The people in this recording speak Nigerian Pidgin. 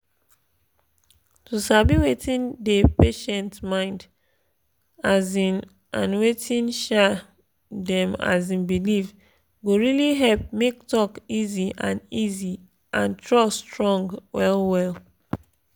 to sabi wetin dey patient mind um and wetin um dem um believe go really help make talk easy and easy and trust strong well well.